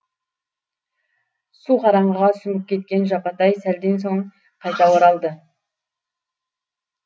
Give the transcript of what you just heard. су қараңғыға сүңгіп кеткен жапатай сәлден соң қайта оралды